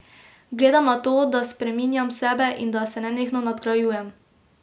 Gledam na to, da spreminjam sebe in da se nenehno nadgrajujem.